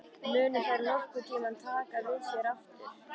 Munu þær nokkurntíma taka við sér aftur?